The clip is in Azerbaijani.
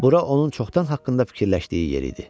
Bura onun çoxdan haqqında fikirləşdiyi yer idi.